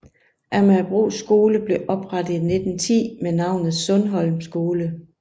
Amagerbro skole blev oprettet i 1910 med navnet Sundholm Skole